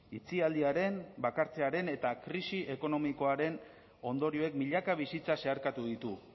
itxialdiaren bakartzearen eta krisi ekonomikoaren ondorioek milaka bizitza zeharkatu ditu